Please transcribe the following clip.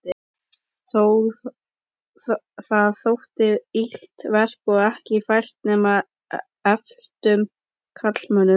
Það þótti illt verk og ekki fært nema efldum karlmönnum.